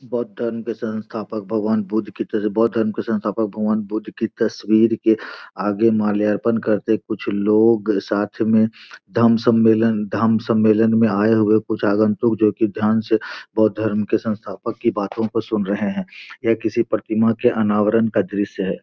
बौद्ध धर्म के संस्थापक भगवान बुद्ध के बौद्ध धर्म के संस्पाथक भगवान बुद्ध के तस्वीर के आगे माल्यार्पण करते कुछ लोग साथ में धम्म सम्मलेन धम्म सम्मलेन में आये कुछ आगन्तुक जो की ध्यान से धाम संस्पाथक की बातो को सुन रहे हैं ये किसी प्रतिमा के अनावरण का दृश्य है।